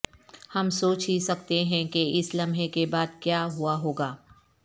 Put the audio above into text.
ہم سوچ ہی سکتے ہیں کہ اس لمحے کے بعد کیا ہوا ہو گا